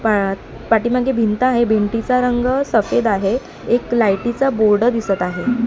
पायात पाठीमागे भिंत आहे भिंतीचा रंग सफेद आहे एक लाईटीचा बोर्ड दिसत आहे.